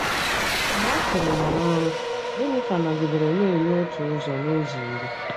Mgbe a chụrụ ya n'ọrụ, Geniva nọgidere na-enye otu ụzọ n'ụzọ iri.